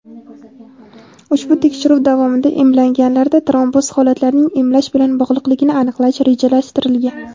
Ushbu tekshiruv davomida emlanganlarda tromboz holatlarining emlash bilan bog‘liqligini aniqlash rejalashtirilgan.